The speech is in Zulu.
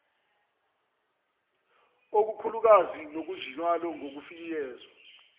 okukhulukazi kukhonjiswe ngokufifiyela